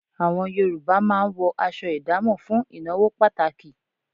Àwọn Yorùbá máa ń wọ aṣọ ìdámọ̀ fún ìnáwó pàtàkì